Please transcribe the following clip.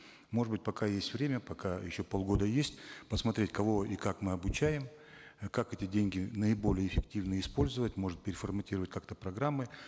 может быть пока есть время пока еще полгода есть посмотреть кого и как мы обучаем э как эти деньги наиболее эффективно использовать может переформатировать как то программы